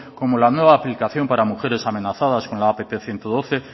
como la nueva aplicación para mujeres amenazadas con la app ciento doce